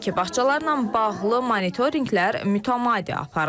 Qeyd edək ki, bağçalarla bağlı monitorinqlər mütəmadi aparılır.